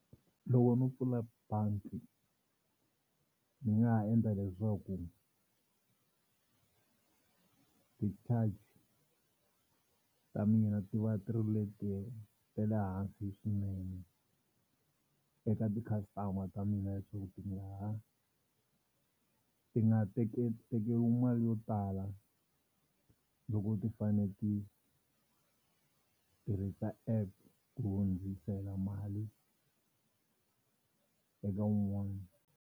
Loko no pfula bangi ni nga ha endla leswaku ti-charge ta mina ti va ti leti ta le hansi swinene eka ti-customer ta mina leswaku ti nga ha ti nga tekeriwi mali yo tala loko ti fane ti tirhisa app ku hundzisela mali eka un'wani.